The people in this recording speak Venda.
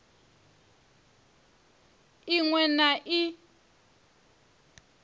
i ṅ we na i